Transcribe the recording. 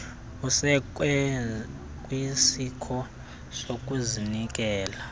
usekwe kwisiko sokuzinikela